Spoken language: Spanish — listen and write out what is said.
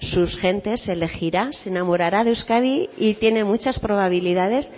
sus gentes elegirá se enamorará de euskadi y tiene muchas probabilidades